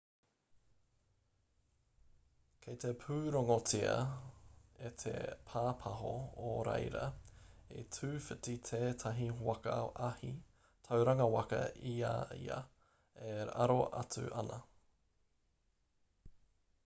kei te pūrongotia e te pāpāho o reira i tūwhiti tētahi waka ahi tauranga waka i a ia e aro atu ana